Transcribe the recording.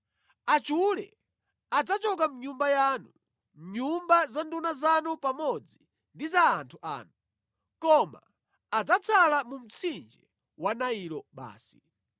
Achule adzachoka mʼnyumba yanu, mʼnyumba za nduna zanu pamodzi ndi za anthu anu. Koma adzatsala mu mtsinje wa Nailo basi.”